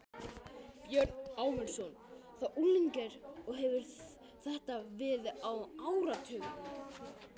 Björn Ásmundsson, þá unglingur og hefir þetta verið á áratugnum